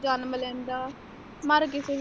ਜਨਮ ਲੈਂਦਾ ਮਰ ਕਿਸੇ ਵੀ।